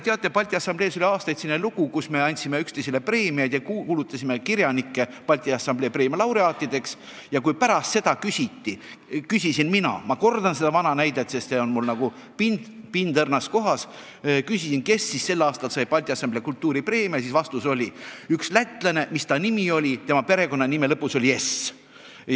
Teate, Balti Assamblees oli aastaid selline lugu, et me andsime üksteisele preemiaid ja kuulutasime kirjanikke Balti Assamblee preemia laureaatideks, aga kui pärast seda küsisin mina – ma kordan seda vana näidet, sest see on mul nagu pind õrnas kohas –, kes siis sel aastal sai Balti Assamblee kultuuripreemia, siis vastus oli: "Üks lätlane, mis ta nimi oligi, igatahes tema perekonnanime lõpus oli s.